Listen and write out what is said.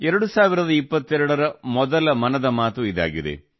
2022 ರ ಮೊದಲ ಮನದ ಮಾತು ಇದಾಗಿದೆ